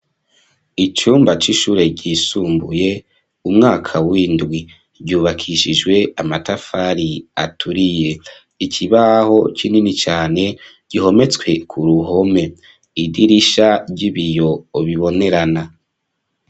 Icumba c'ishure ryisumbuye umwaka w'indwi, ryubakishijwe amatafari aturiye, ikibaho kinini cane gihometswe k'uruhome, idirisha ry'ibiyo bibonerana.